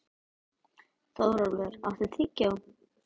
Þórólfur, áttu tyggjó?